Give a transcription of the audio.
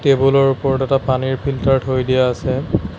Table ৰ ওপৰত এটা পানীৰ ফিল্টাৰ থৈ দিয়া আছে।